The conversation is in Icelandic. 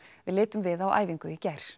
við litum við á æfingu í gær